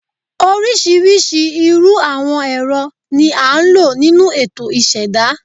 Oríṣiríṣi irú àwọn ẹ̀rọ ni a ń lò nínú ètò ìṣẹ̀dá